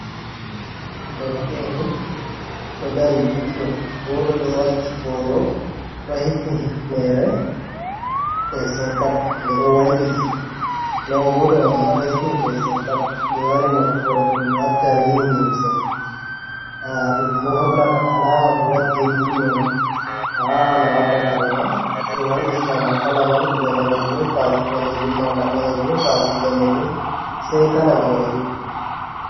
Darake’e ni ɗo dari ɓe ɗiɗo goto ɗo waki boro ɗo hifni hifnere fesing kap, nde ɗo wailiti nden goto man ma ɗo hifni fesing kap be wari nokkure ɗum ɓe watta rini limse ɗum bo hollata alama ɓe wadɗi rini on, a wawan a wadda karema be wailitinama kala man iga danejum faki ɓalejum malla ɓalejum faaki danejum sei kala je a yidi.